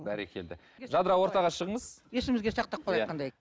бәрекелді жадыра ортаға шығыңыз есімізге сақтап қалайық қандай